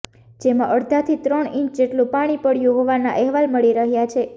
જેમાં અડધાથી ત્રણ ઇંચ જેટલું પાણી પડયું હોવાના અહેવાલ મળી રહ્યા છે